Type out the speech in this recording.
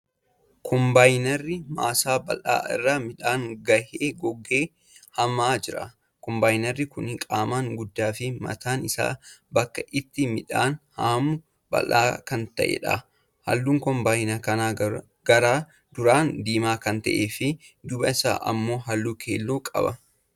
Kombaayinarri maasaa bal'aa irraa midhaan gahee goggoge haamaa jira. Kombaayinarri kuni qaamaan guddaa fi mataan isaa bakki ittiin midhaan haamu bal'aa kan ta'edha. Halluun kombaayinara kanaa gara duraan diimaa kan ta'ee fi dubba isaan ammo halluu keelloo qaba.